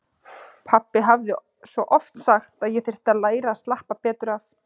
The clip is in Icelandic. Pabbi hafði svo oft sagt að ég þyrfti að læra að slappa betur af.